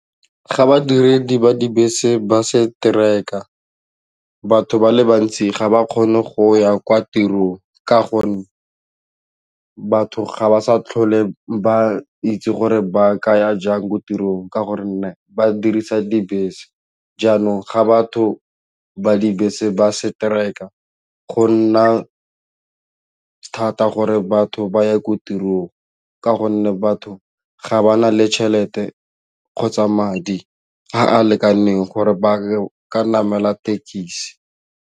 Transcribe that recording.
Ga badiredi ba dibese ba strike-a batho ba le bantsi ga ba kgone go ya kwa tirong ka gonne batho ga ba sa tlhole ba itse gore ba ka ya jang ko tirong ka gore nne ba dirisa dibese jaanong ga batho ba dibese ba strike-a go nna thata gore batho ba ye ko tirong ka gonne batho ga ba na le tšhelete kgotsa madi a a lekaneng gore ba ka namela thekisi.